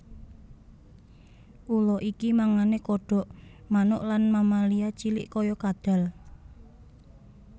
Ula iki mangane kodhok manuk lan mamalia cilik kaya kadhal